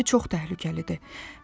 Bu indi çox təhlükəlidir.